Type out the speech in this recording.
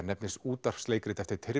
nefnist útvarpsleikrit eftir